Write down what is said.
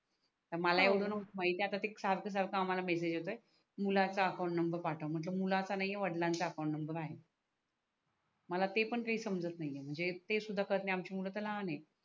तर हो मला येवड नाही माहिती ते सारख सारख आम्हाला मेसेजेस येतोय मुलांच्या अकाउन्ट नंबर पाठव मी म्हटल मुलाचा नाही आहे वाडलंचा अकाउन्ट नंबर आहे मला ते पण काही समजत नाही आहे म्हणजे ते सुद्धा करणे आम्हचे मूल तर लहान आहे.